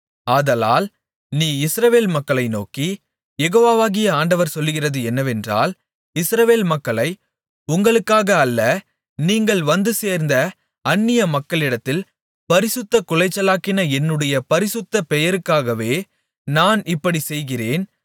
ஆதலால் நீ இஸ்ரவேல் மக்களை நோக்கி யெகோவாகிய ஆண்டவர் சொல்லுகிறது என்னவென்றால் இஸ்ரவேல் மக்களை உங்களுக்காக அல்ல நீங்கள் வந்துசேர்ந்த அந்நிய மக்களிடத்தில் பரிசுத்தக்குலைச்சலாக்கின என்னுடைய பரிசுத்த பெயருக்காகவே நான் இப்படிச் செய்கிறேன்